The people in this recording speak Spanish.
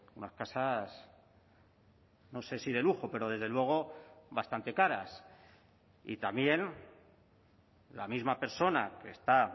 unas casas no sé si de lujo pero desde luego bastante caras y también la misma persona que está